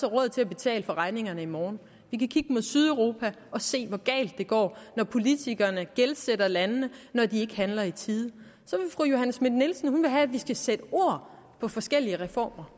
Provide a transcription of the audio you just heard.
råd til at betale for regningerne i morgen vi kan kigge mod sydeuropa og se hvor galt det går når politikerne gældsætter landene når de ikke handler i tide så vil fru johanne schmidt nielsen have at vi skal sætte ord på forskellige reformer